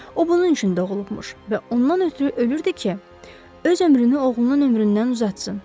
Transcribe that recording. O bunun üçün də doğulubmuş və ondan ötrü ölürdü ki, öz ömrünü oğlunun ömründən uzatsın.